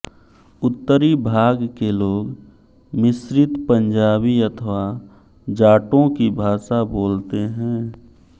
उत्तरी भाग के लोग मिश्रित पंजाबी अथवा जाटों की भाषा बोलते हैं